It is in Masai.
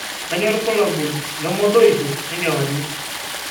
kanyio irbulabul le modoisho enkewarie